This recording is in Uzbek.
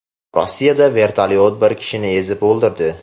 Rossiyada vertolyot bir kishini ezib o‘ldirdi.